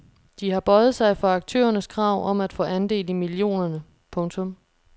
De har bøjet sig for aktørernes krav om at få andel i millionerne. punktum